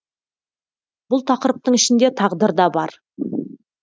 бұл тақырыптың ішінде тағдыр да бар